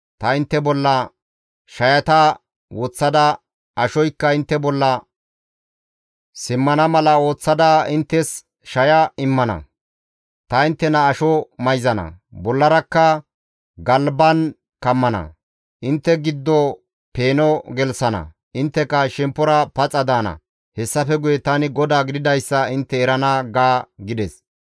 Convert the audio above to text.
Ta intte bolla shayata woththada, ashoykka intte bolla simmana mala ooththada, inttes shaya immana; ta inttena asho mayzana; bollarakka galban kammana; intte giddo peeno gelththana; intteka shemppora paxa daana; hessafe guye tani GODAA gididayssa intte erana› ga» gides.